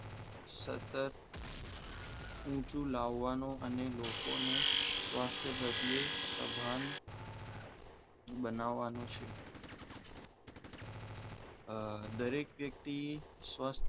સતત ઊંચો લાવવાનું અને લોકોને સ્વાસ્થ્ય પ્રત્યે સભાન બનાવવાનું છે આ દરેક વ્યક્તિ